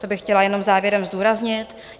To bych chtěla jenom závěrem zdůraznit.